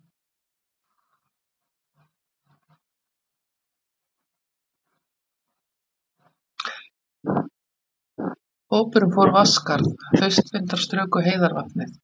Hópurinn fór Vatnsskarð, haustvindar struku heiðarvatnið.